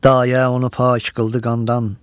Dayə onu pak qıldı qandan.